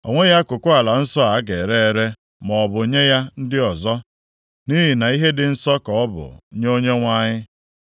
O nweghị akụkụ ala nsọ a a ga-ere ere, maọbụ nye ya ndị ọzọ, nʼihi na ihe dị nsọ ka ọ bụ nye Onyenwe anyị.